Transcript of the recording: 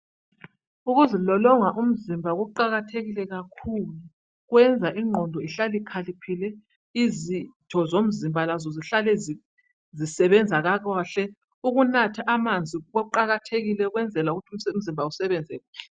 Ukuzilolonga umzimba kuqakathekile kakhulu. Kuyenza ingqondo ihlale ikhaliphile ,izitho zomzimba lazo zihlale zisebenza kakahle. Ukunatha amanzi kuqakathekile ukwenzela ukuthi umzimba usebenze kuhle.